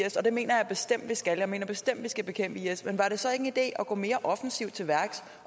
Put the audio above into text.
is og det mener jeg bestemt vi skal jeg mener bestemt vi skal bekæmpe is men var det så ikke en idé at gå mere offensivt til værks